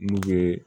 N'u ye